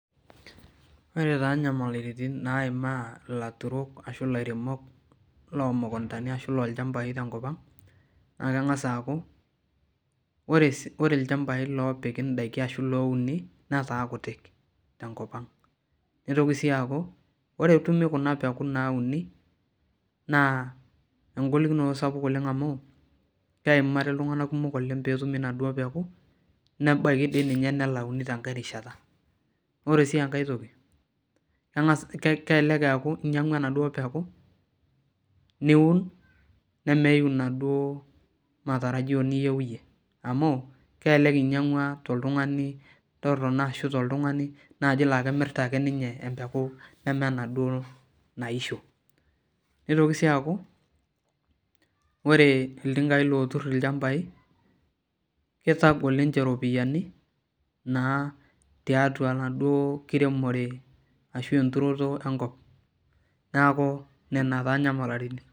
Ore taa nyamalaritin naimaa ilaturok ashu lairemok lomukuntani ashu lolchambai tenkop ang, naa keng'asa aaku, ore ilchambai lopiki daiki ashu louni, nataa kutitik tenkop ang. Nitoki si aku, ore etumi kuna peku nauni, naa egolikinoto sapuk oleng amu, keimari iltung'anak kumok oleng petumi naduo peku, nebaiki di ninye nelauni tenkae rishata. Ore si enkae toki, keng'as kelelek eeku inyang'ua enaduo peku, niun nemeyu inaduo matarajio niyieu iyie. Amu, kelelek inyang'ua toltung'ani torrono ashu toltung'ani naaji la kemirta ake ninye empeku nemenaduo naisho. Nitoki si aku, ore iltinkai lotur ilchambai, kitagol ninche ropiyiani, naa tiatua enaduo kiremore ashu enturoto enkop. Neeku nena taa nyamalaritin.